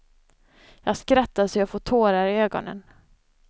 Jag skrattar så jag får tårar i ögonen.